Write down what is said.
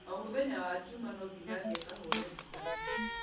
O mũthenya wa juma no nginya athiĩ akahũre mbica